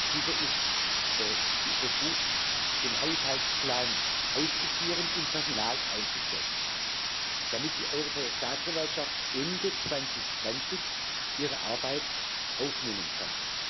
Dieser ist befugt, den Haushaltsplan auszuführen und Personal einzustellen, damit die Europäische Staatsanwaltschaft Ende 2020 ihre Arbeit aufnehmen kann.